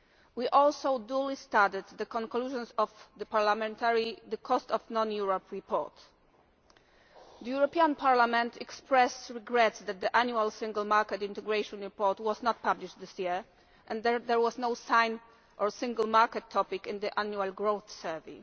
We also duly stated the conclusions of the parliamentary Cost of Non-Europe report. The European Parliament expressed regrets that the Annual Single Market Integration report was not published this year and there was no sign or Single Market topic in the Annual Growth Survey.